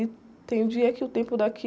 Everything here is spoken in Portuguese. E tem dia que o tempo daqui...